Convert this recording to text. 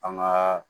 An ŋaa